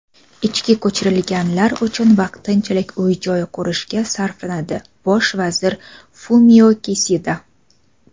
ichki ko‘chirilganlar uchun vaqtinchalik uy-joy qurishga sarflanadi – Bosh vazir Fumio Kisida.